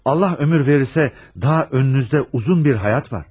Allah ömür verirsə daha önünüzdə uzun bir həyat var.